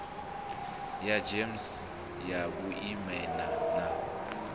ya gems ya vhuimana na